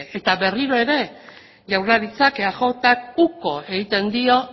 eta berriro ere jaurlaritzak eajk uko egiten dio